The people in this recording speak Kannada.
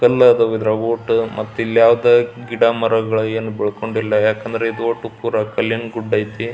ಕಲ್ಲಾದವು ಇದರ ಒಟ್ಟು ಮತ್ತೆ ಇಲ್ಲಿ ಯಾವುದೇ ಗಿಡ ಮರ ಗಳು ಏನು ಬೆಳಕೊಂಡಿಲ್ಲ ಯಾಕಂದ್ರೆ ಇದು ಓಟ್ ಪೂರಾ ಕಲ್ಲಿನ ಗುಡ್ಡ ಐತಿ.